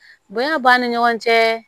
Bonya b'a ni ɲɔgɔn cɛ